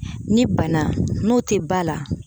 Ni bana n'o tɛ ba la